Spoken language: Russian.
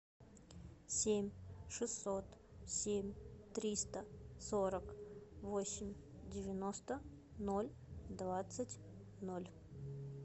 семь шестьсот семь триста сорок восемь девяносто ноль двадцать ноль